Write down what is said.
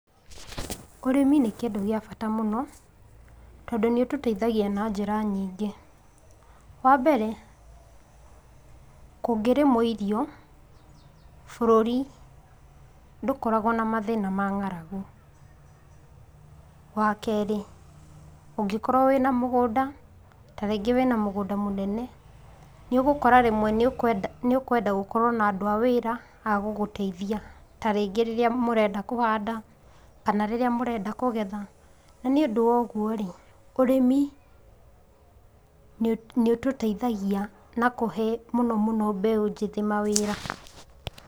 Ũrĩmi nĩ kĩndũ gĩa bata mũno, tondũ nĩ ũtũteithagia na njĩra nyingĩ. Wambere, kũngĩrĩmwo irio bũrũri ndũkoragwo na thĩna wa ng'aragu. Wakeri, ũnngĩkorwo wina mũgũnda, tarĩngĩ wĩna mũgũnda mũnene, nĩ ũgũkora rĩmwe nĩ ũkwenda gũkorwo na andũ a wĩra a gũgũteithia tarĩrĩa ũrenda kũhanda kana rĩrĩa mũrenda kũgetha. Na nĩ ũndũ wa ũguo-rĩ, ũrĩmi nĩ ũtũteithagia na kũhe, na mũno mũno mbeũ njĩthĩ mawĩra.